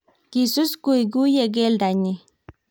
kisus kuikuyie keldo nyin